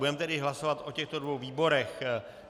Budeme tedy hlasovat o těchto dvou výborech.